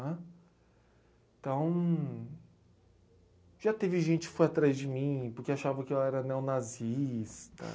Né. Então, já teve gente que foi atrás de mim porque achava que eu era neonazista.